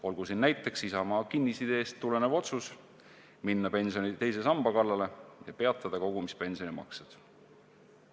Olgu siin näiteks Isamaa kinnisideest tulenev otsus minna pensioni teise samba kallale ja peatada kogumispensioni maksed.